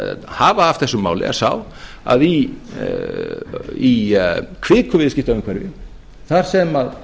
hafa af þessu máli er sá að í kviku viðskiptaumhverfi þar sem